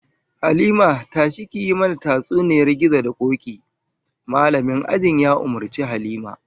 "Halima, tashi ki yi mana tatsuniyar gizo da koki", Mallamin ajin ya umurci Halima.